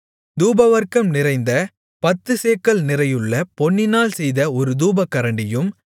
தூபவர்க்கம் நிறைந்த பத்துச்சேக்கல் நிறையுள்ள பொன்னினால் செய்த ஒரு தூபகரண்டியும்